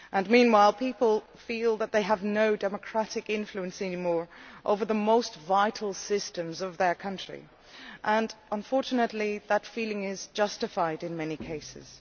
Meanwhile, people feel that they have no democratic influence any more over the most vital systems of their countries, and unfortunately that feeling is justified in many cases.